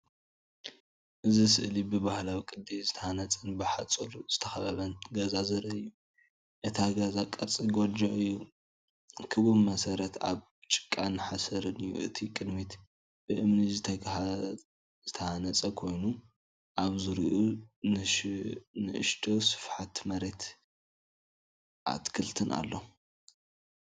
እዚ ስእሊ ብባህላዊ ቅዲ ዝተሃንጸን ብሓጹር ዝተኸበበን ገዛ ዘርኢ እዩ። እቲ ገዛ ቅርጺ ጎጆ እዩ። ክቡብ መሰረትን ካብ ጭቃን ሓሰርን እዩ። እቲ ቅድሚት ብእምኒ ዝተሃንጸ ኮይኑ ኣብ ዙርያኡ ንእሽቶ ስፍሓት መሬትን ኣትክልትን ኣሎ።